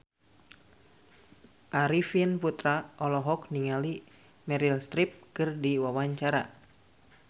Arifin Putra olohok ningali Meryl Streep keur diwawancara